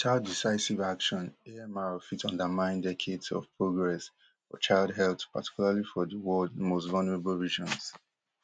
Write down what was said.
witout decisive action amr fit undermine decades of progress for child health particularly for di world most vulnerable regions